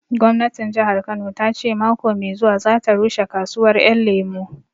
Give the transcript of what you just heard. Gwamnatin Jahar Kano ta ce mako mai zuwa za ta rushe kasuwar Ƴan Lemu